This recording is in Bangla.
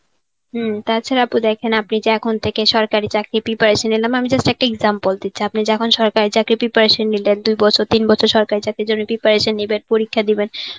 হম তাছাড়া আপু দেখেন আপনি যে এখন থেকে সরকারি চাকরির preparation আমি just একটা example দিচ্ছি. আপনি যখন সরকারি চাকরির preparation নিলেন, দুই বছর, তিন বছর সরকারি চাকরির জন্য preparation নিবেন, পরীক্ষা দেবেন.